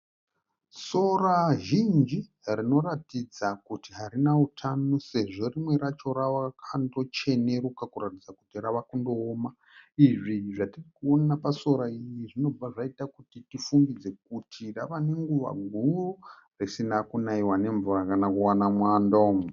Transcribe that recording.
Sora zhinji rinoratidza kuti harina utano, sezvo rimwe racho rakando cheneruka kuratidza kuti rave kundooma . Izvi zvatirikuona pasora iri zvirikuratidza kuti rave nenguva huru risina kuona mvura kana kuona mwando.